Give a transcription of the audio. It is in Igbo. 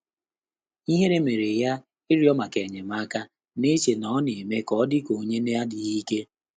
Íhérè mèrè yá ị́rị́ọ́ màkà ényémáká, nà-échè nà ọ́ nà-émé kà ọ́ dị́kà ọ́nyé nà-ádị́ghị́ íké.